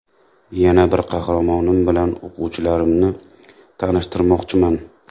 Yana bir qahramonim bilan o‘quvchilarimni tanishtirmoqchiman.